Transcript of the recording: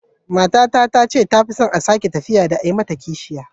Matata ta ce ta fi son a sake ta fiye da a yi mata kishiya.